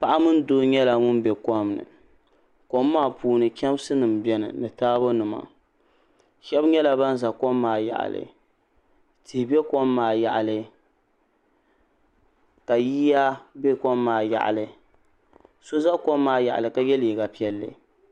Paɣa mini doo nyɛla ŋun be kom ni kom maa puuni chemsi nima biɛni taabo nima sheba nyɛla ban za kom maa yaɣali tihi be kom maa yaɣali ka yiya be kom maa yaɣali so za kom maa yaɣali ka ye liiga piɛlli.